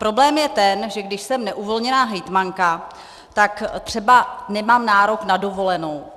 Problém je ten, že když jsem neuvolněná hejtmanka, tak třeba nemám nárok na dovolenou.